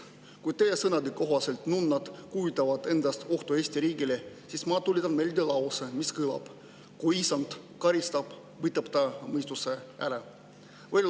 Kui teie sõnade kohaselt nunnad kujutavad endast ohtu Eesti riigile, siis ma tuletan meelde lauset, mis kõlab nii: "Kui Issand karistab, võtab ta mõistuse ära.